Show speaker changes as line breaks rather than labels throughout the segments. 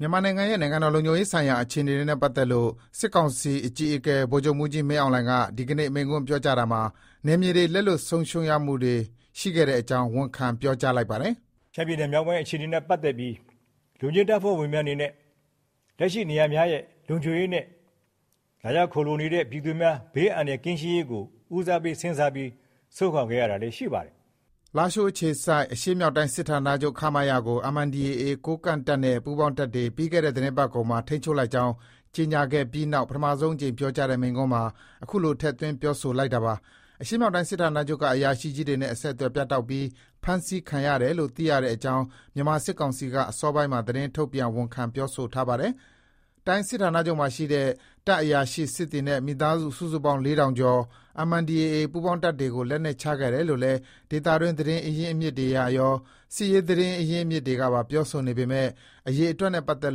မြန်မာနိုင်ငံရဲ့ နိုင်ငံတော် လုံခြုံရေးဆိုင်ရာ အခြေအနေတွေနဲ့ ပတ်သက်လို့ စစ်ကောင်စီအကြီးအကဲ ဗိုလ်ချုပ်မှူးကြီး မင်းအောင်လှိုင်က ဒီကနေ့ မိန့်ခွန်းပြောကြားရာမှာ နယ်မြေတွေ လက်လွှတ် ဆုံးရှုံးမှုတွေရှိခဲ့အကြောင်း ဝန်ခံ ပြောကြားလိုက်ပါတယ်။ လားရှိုးအခြေစိုက် အရှေ့မြောက်တိုင်းစစ်ဌာနချုပ် (ရမခ) ကို MNDAA ကိုးကန့်တပ်နဲ့ ပူးပေါင်းတပ်တွေ ပြီးခဲ့တဲ့ သီတင်းပတ်ကုန်မှာ ထိန်းချုပ်လိုက်ကြောင်း ကြေညာခဲ့ပြီးနောက် ပထမဆုံးအကြိမ် ပြောကြားတဲ့ မိန့်ခွန်းမှာ အခုလို ထည့်သွင်းပြောဆိုလိုက်တာပါ။ အရှေ့မြောက်တိုင်းစစ်ဌာနချုပ်က အရာရှိကြီးတွေနဲ့ အဆက်အသွယ်ပြတ်တောက်ပြီး ဖမ်းဆီးခံရတယ်လို့ သိရှိရတဲ့အကြောင်း မြန်မာစစ်ကောင်စီက အစောပိုင်းမှာ သတင်း ထုတ်ပြန် ဝန်ခံပြောဆိုထားပါတယ်။ တိုင်းစစ်ဌာနချုပ်မှာရှိတဲ့ တပ်အရာရှိစစ်သည်နဲ့ မိသားစု စုစုပေါင်း ၄ ထောင်ကျော် MNDAA ပူးပေါင်းတပ်တွေကို လက်နက်ချခဲ့တယ်လို့လည်း ဒေသတွင်းသတင်းတွေအရရော စစ်ရေး သတင်းရင်းမြစ်တွေကပါ ပြောဆိုနေပေမဲ့ အရေအတွက်နဲ့ ပတ်သက်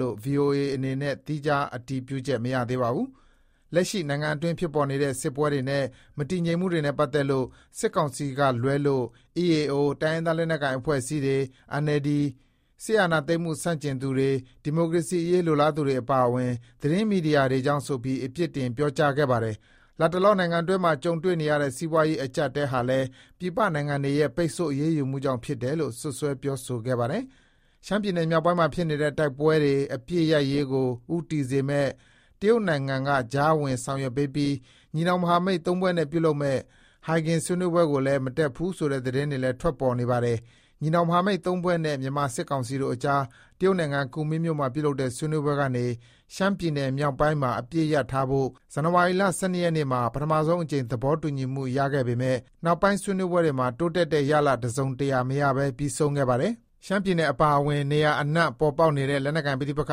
လို့ ဗွီအိုအေအနေနဲ့ သီးခြား အတည်ပြုချက် မရသေးပါဘူး။ လက်ရှိ နိုင်ငံအတွင်း ဖြစ်ပေါ်နေတဲ့ စစ်ပွဲတွေနဲ့ မတည်ငြိမ်မှုတွေနဲ့ ပတ်သက်လို့ စစ်တပ်ကလွဲလို့ EAO တိုင်းရင်းသားလက်နက်ကိုင် အဖွဲ့အစည်းတွေ၊ NLD နဲ့ စစ်အာဏာသိမ်းမှုဆန့်ကျင်သူတွေ၊ ဒီမိုကရေအရေး လိုလားသူတွေအပါအဝင် သတင်းမီဒီယာတွေကြောင့် ဆိုပြီး အပြစ်တင် ပြောကြားခဲ့ပါတယ်။ လတ်တလော နိုင်ငံအတွင်းမှာ ကြုံတွေ့နေရတဲ့ စီးပွားရေး အကျပ်အတည်းဟာလည်း ပြည်ပနိုင်ငံတွေရဲ့ ပိတ်ဆို့ အရေးယူမှုကြောင့် ဖြစ်တယ်လို့ စွပ်စွဲ ပြောဆိုခဲ့ပါတယ်။ ရှမ်းပြည်နယ်မြောက်ပိုင်းမှာဖြစ်နေတဲ့ တိုက်ပွဲတွေ အပစ်ရပ်ရေးကို ဦးတည်စေမယ့် တရုတ်နိုင်ငံက ကြားဝင် ဆောင်ရွက်ပေးပြီး ညီနောင် မဟာမိတ် ၃ ဖွဲ့နဲ့ ပြုလုပ်မယ့် ဟိုင်ဂင် ဆွေးနွေးပွဲကိုလည်း မတက်ဘူးဆိုတဲ့ သတင်းတွေလည်း ထွက်ပေါ်နေပါတယ်။ ညီနောင် မဟာမိတ်သုံးဖွဲ့နဲ့ မြန်မာ စစ်ကောင်စီတို့အကြား တရုတ်နိုင်ငံ၊ ကူမင်းမြို့မှာလုပ်တဲ့ ဆွေးနွေးပွဲကနေ ရှမ်းပြည်နယ်မြောက်ပိုင်းမှာ အပစ်ရပ်ထားဖို့ ဇန်နဝါရီလ ၁၂ ရက်နေ့မှာ ပထမဆုံးအကြိမ် သဘောတူညီမှုရခဲ့ပေမယ့် နောက်ပိုင်း ဆွေးနွေးပွဲတွေမှာ တိုးတက်တဲ့ရလဒ် တစုံတရာမရဘဲ ပြီးဆုံးခဲ့ပါတယ်။ ရှမ်းပြည်နယ် အပါအဝင် မြန်မာနိုင်ငံ နေရာအနှံ့ ပေါ်ပေါက်နေတဲ့ လက်နက်ကိုင် ပဋိပက္ခ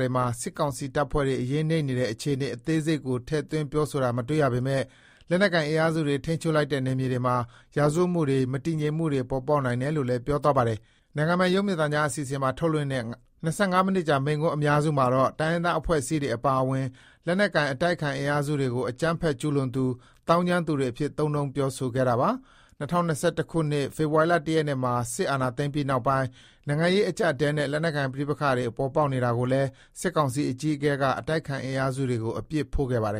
တွေမှာ စစ်ကောင်စီ တပ်ဖွဲ့တွေ အရေးနိမ့်နေတဲ့ အခြေအနေ အသေးစိတ်ကို ထည့်သွင်းပြောဆိုတာ မတွေ့ရပေမဲ့ လက်နက်ကိုင် အင်အားစုတွေ ထိန်းချုပ်လိုက်တဲ့ နယ်မြေတွေမှာ ရာဇဝတ်မှုတွေ၊ မတည်ငြိမ်မှုတွေ ပေါ်ပေါက်နိုင်တယ်လို့လည်း ပြောသွားပါတယ်။ နိုင်ငံပိုင် ရုပ်မြင်သံကြား အစီအစဉ်မှာ ထုတ်လွှင့်ခဲ့တဲ့ ၂၅ မိနစ်ကြာ မိန့်ခွန်း အများစုမှာတော့ တိုင်းရင်းသား အဖွဲ့အစည်းတွေ အပါအဝင် လက်နက်ကိုင် အတိုက်အခံ အင်အားစုတွေကို အကြမ်းဖက်ကျုးလွန်သူ၊ သောင်းကျန်းသူတွေအဖြစ် သုံးနှုန်းပြောဆိုခဲ့တာပါ။ ၂၀၂၁ ခုနှစ် ဖေဖော်ဝါရီလမှာ စစ်အာဏာသိမ်းပြီးနောက်ပိုင်း နိုင်ငံရေး အကျပ်အတည်းတွေနဲ့ လက်နက်ကိုင် ပဋိပက္ခတွေ ပေါ်ပေါက်နေတာကိုလည်း စစ်ကောင်စီ အကြီးအကဲက အတိုက်အခံ အင်အားစုတွေကို အပြစ်ဖို့ခဲ့ပါတယ်